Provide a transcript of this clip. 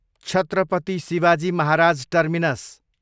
Chhatrapati Shivaji Maharaj terminus